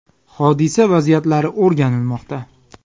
Hodisa vaziyatlari o‘rganilmoqda.